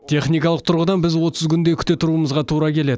техникалық тұрғыдан біз отыз күндей күте тұруымызға тура келеді